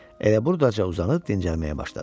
Elə burdaca uzanıb dincəlməyə başladı.